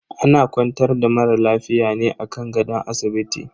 Ana kwantar da mara lafiya ne a kan gadon asibiti.